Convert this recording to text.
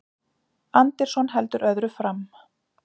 Anderson heldur öðru fram